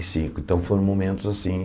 Cinco então, foram momentos assim.